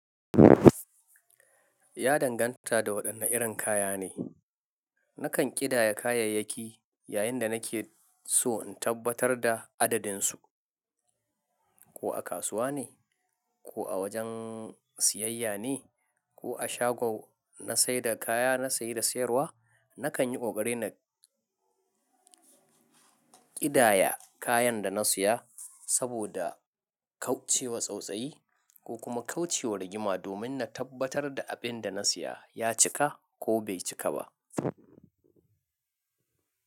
Ya danganta da waɗanne irin kaya ne. Nakan ƙidaya kayayyaki yayin da nake so in tabbatar da adadin su. Ko a kasuwa ne ko a wajen siyayya ne ko a shagon na saida kaya na saye da sayarwa, nakan yi ƙoƙari na ƙidaya kayan da na siya saboda kauce wa tsautsayi ko kuma kauce wa rigima domin na tabbatar da abin da na siya ya cika ko bai cika ba.